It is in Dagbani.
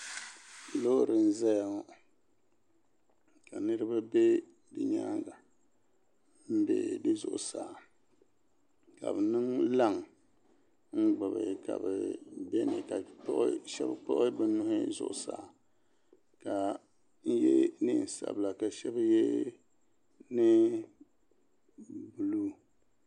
lori n zaya ŋɔ ka niriba bɛ di nyɛŋa n bɛ di zuɣ' saa ka be niŋ laŋ n gbabi ka bɛ shɛbi kpagi be nuuhi zuɣ' saa ka shɛbi yɛ nɛma sabila ka shɛbi yɛ nɛnƶiɛ niilo